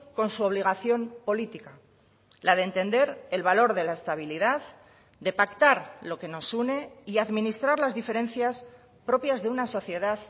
con su obligación política la de entender el valor de la estabilidad de pactar lo que nos une y administrar las diferencias propias de una sociedad